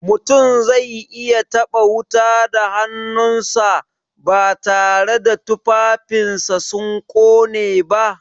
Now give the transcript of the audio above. Mutum zai iya taɓa wuta da hannunsa, batare da tufafinsa sun ƙone ba?